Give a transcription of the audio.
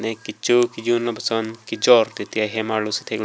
kecho kejun lapuson kejor titi ahem arlo si theklong.